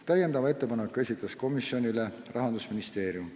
Täiendava ettepaneku esitas komisjonile Rahandusministeerium.